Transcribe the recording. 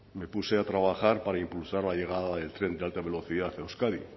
me puse a trabajar para impulsar la llegada del tren de alta velocidad a euskadi